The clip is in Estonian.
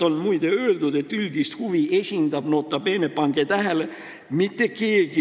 Siin, muide, on öeldud, et üldist huvi esindab – nota bene!, pange tähele!